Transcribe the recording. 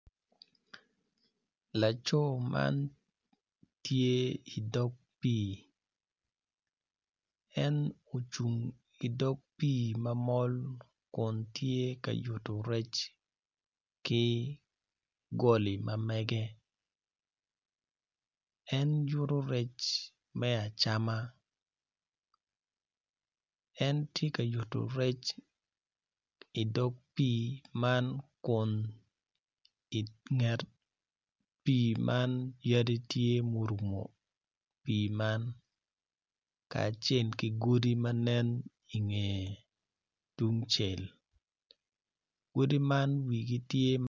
Laco man tye idog pii en ocung idog pii ma mol kun tye ka yuto rec ki goli ma mege en yuto rec me acama en tye ka yuto rec idog pii man kun inget pii man yadi tye murumo pii man kacel ki godi ma nen inge tungcel godi man wigi tye